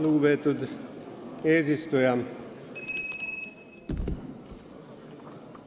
Lugupeetud eesistuja!